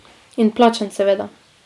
In plačan seveda.